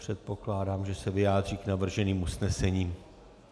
Předpokládám, že se vyjádří k navrženým usnesením.